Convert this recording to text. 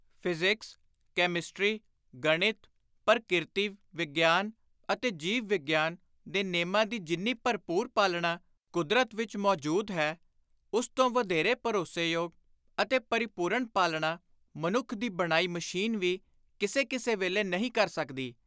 Physics, chemistry, ਗਣਿਤ, ਪਰਕਿਰਤੀ- ਵਿਗਿਆਨ ਅਤੇ ਜੀਵ-ਵਿਗਿਆਨ ਦੇ ਨੇਮਾਂ ਦੀ ਜਿੰਨੀ ਭਰਪੁਰ ਪਾਲਣਾ ਕੁਦਰਤ ਵਿਚ ਮੌਜੁਦ ਹੈ, ਉਸ ਤੋਂ ਵਧੇਰੇ ਭਰੋਸੋਯੋਗ ਅਤੇ ਪਰਿਪੁਰਣ ਪਾਲਣਾ ਮਨੁੱਖ ਦੀ ਬਣਾਈ ਮਸ਼ੀਨ ਵੀ, ਕਿਸੇ ਕਿਸੇ ਵੇਲੇ ਨਹੀਂ ਕਰ ਸਕਦੀ।